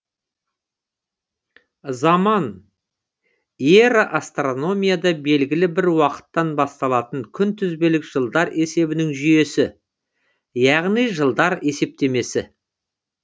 заман эра астрономияда белгілі бір уақыттан басталатын күнтізбелік жылдар есебінің жүйесі яғни жылдар есептемесі